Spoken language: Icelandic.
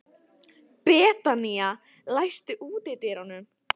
Betanía, læstu útidyrunum.